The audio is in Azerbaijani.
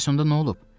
Bəs onda nə olub?